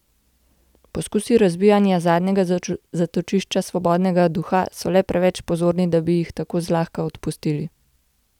Poskusi razbijanja zadnjega zatočišča svobodnega duha so le preveč prozorni, da bi jih tako zlahka dopustili.